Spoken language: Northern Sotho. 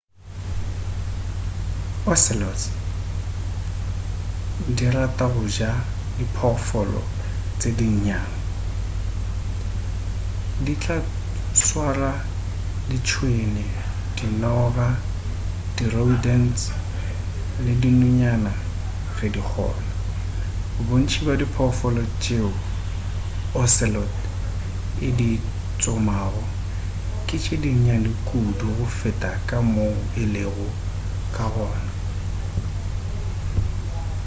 ocelots di rata go ja diphoofolo tše dinnyane di tla swara ditšhwene dinoga di-rodents le dinonyana ge di kgona bontši bja diphoofolo tšeo ocelot e di tsomago ke tše dinnyane kudu go feta ka moo e lego ka gona